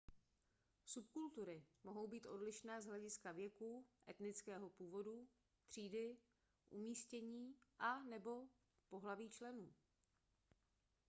subkultury mohou být odlišné z hlediska věku etnického původu třídy umístění a/nebo pohlaví členů